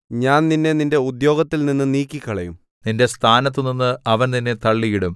ഞാൻ നിന്നെ നിന്റെ ഉദ്യോഗത്തിൽനിന്നു നീക്കിക്കളയും നിന്റെ സ്ഥാനത്തുനിന്ന് അവൻ നിന്നെ തള്ളിയിടും